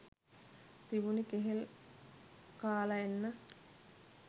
තිබුනෙ කෙහෙල් කාල එන්න.